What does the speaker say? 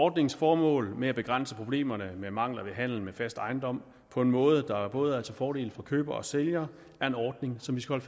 ordningens formål med at begrænse problemerne med mangler ved handel med fast ejendom på en måde der både er til fordel for køber og sælger er noget som vi skal